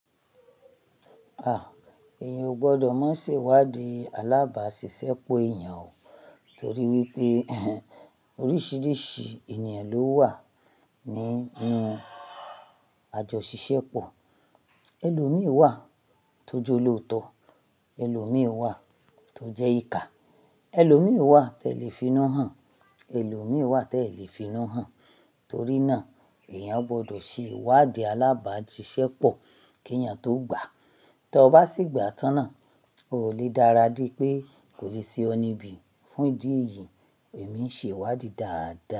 Ah! Èèyàn ò gbọdọ̀ má ṣe ìwádìí alábàásisẹ́pọ̀ èèyàn o, torí wípé oríṣiríṣi ènìyàn ló wà ní inú àjọ ṣiṣẹ́ pọ̀. Ẹlòmíì wà tó jẹ olootọ, ẹlòmíì wà tó jẹ́ ìka, ẹlòmíì wà tí ẹ lè fi'nu hàn, ẹlòmíì wà tí ẹ lè fi'nu hàn. Torí náà, èèyàn gbọdọ̀ ṣe ìwádìí alábàáṣiṣẹ́pọ̀ kí èèyàn tó gbà. Tí o bá sì gba tán náà, o lè dára de pé kò lè ṣe ọ níbi. Fún ìdí èyí, èmi ń ṣe ìwádìí dáadáa.